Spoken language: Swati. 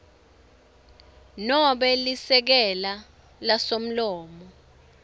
nobe lisekela lasomlomo